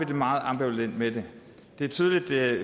det meget ambivalent med den det er tydeligt at